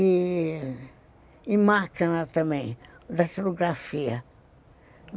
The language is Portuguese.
E máquina também, datilografia.